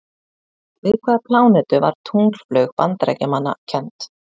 Við hvaða plánetu var tunglflaug Bandaríkjamanna kennd?